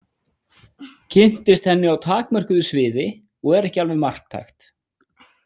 Kynntist henni á takmörkuðu sviði og er ekki alveg marktækt.